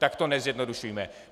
Tak to nezjednodušujme.